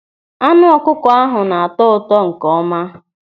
Anụ ọkụkọ ahụ na-atọ ụtọ nkeọma.